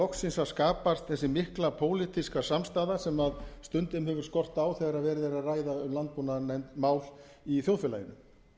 loksins að skapast þessi mikla pólitíska samstaða sem stundum hefur skort á þegar verið er að ræða um landbúnaðarmál í þjóðfélaginu